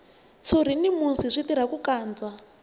ntshuri na musi swi tirha ku kandza